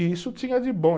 E isso tinha de bom.